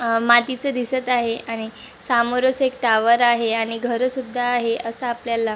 आ मातीचं दिसत आहे आणि समोरच एक टॉवर आहे आणि घर सुद्धा आहे अस आपल्याला--